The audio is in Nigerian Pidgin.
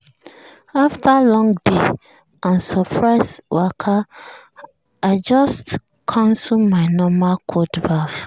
after long day and surprise waka i just cancel my normal cold baff.